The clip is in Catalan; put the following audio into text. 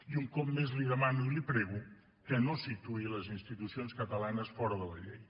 i un cop més li demano i li prego que no situï les institucions catalanes fora de la llei